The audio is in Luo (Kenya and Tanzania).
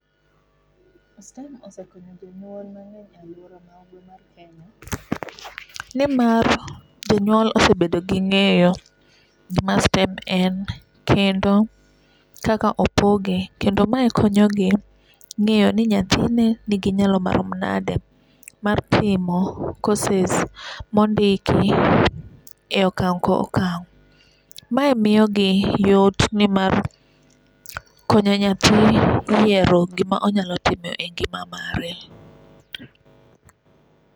STEM osekonyo jonyuol mang’eny e aluora marwa ma kenya nimar jonyuol osebedo gi ng'eyo gima STEM en kendo kaka opoge kendo ma konyo gi ng'eyo ni nyathi ne nigi nyalo marom nade mar timo courses mondiki e okang' kokang'. Mae miyo gi yot nimar konyo nyathi yiero gima onyalo timo e ngima mare